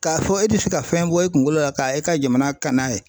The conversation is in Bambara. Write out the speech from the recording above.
K'a fɔ e tɛ se ka fɛn bɔ i kunkolo la k'a e ka jamana ka n'a ye.